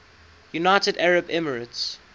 united arab emirates